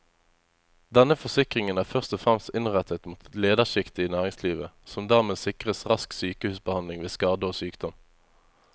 Denne forsikringen er først og fremst innrettet mot lederskiktet i næringslivet, som dermed sikres rask sykehusbehandling ved skade og sykdom.